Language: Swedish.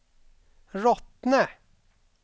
Rottne